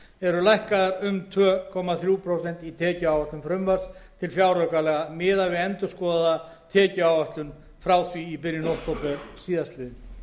eru lækkaðar um tvö komma þrjú prósent í tekjuáætlun frumvarps til fjáraukalaga miðað við endurskoðaða tekjuáætlun frá því í byrjun október síðastliðinn minni